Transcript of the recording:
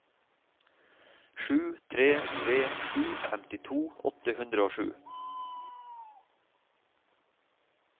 sju tre tre sju femtito åtte hundre og sju